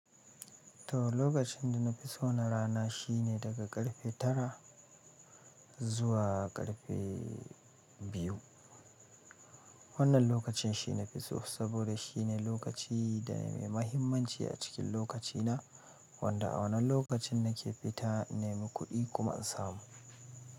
To, lokacin da na fi so na rana shine daga karfe tara zuwa karfe biyu. Wannan lokacin shine na fi so, saboda shine lokaci da mai mahimmanci a cikin lokaci na, wanda a wannan lokacin nake fita na nemi kuɗi kuma in samu.